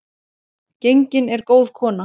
Gengin er góð kona.